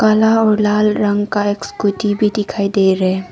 काला और लाल रंग का एक स्कूटी भी दिखाई दे रहे--